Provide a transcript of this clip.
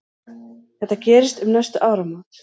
Þetta gerist um næstu áramót.